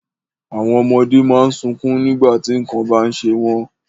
Àwọn ọmọdé má ń sunkún nígbà tí nǹkan bá ń ṣe wọ́n